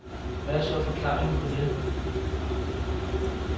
Hvad er så forklaringen på det?